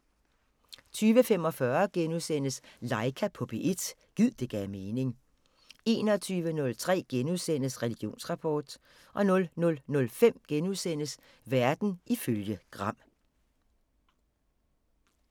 20:45: Laika på P1 – gid det gav mening * 21:03: Religionsrapport * 00:05: Verden ifølge Gram *